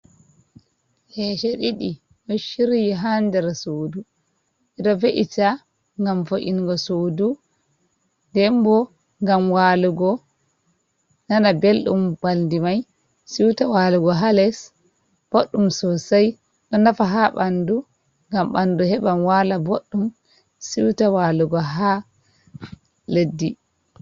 hese didi do ciryi ha ndera sodu ido fe’ita gam fo’ingo sodu denbo gam walugo nana beldum baldi mai siuta walugo ha les boddum sosai do nafa ha bandu gam bandu heban wala boddum siuta walugo ha leddi